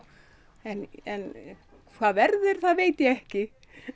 en en hvað verður það veit ég ekki